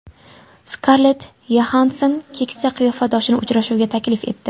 Skarlett Yoxansson keksa qiyofadoshini uchrashuvga taklif etdi.